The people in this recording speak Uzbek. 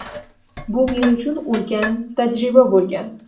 Bu – men uchun ulkan tajriba bo‘lgan”.